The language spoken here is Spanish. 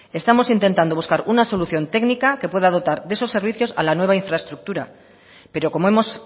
estamos intentando buscar una solución técnica que pueda dotar de esos servicios a la nueva infraestructura pero como hemos